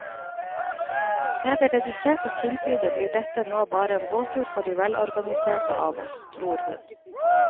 Med det reduserte tilbudet blir dette nå bare en båttur for de velorganiserte av oss, tror hun.